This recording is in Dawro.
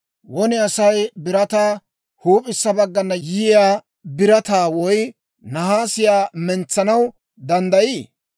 «Won Asay birataa, huup'issa baggana yiyaa birataa woy naasiyaa mentsanaw danddayii?